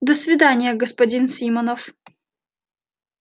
до свидания господин симонов